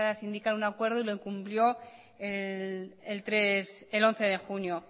sindical un acuerdo y lo incumplió el once de junio